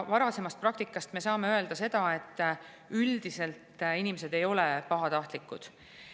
Varasemast praktikast me saame öelda, et üldiselt inimesed ei ole pahatahtlikud.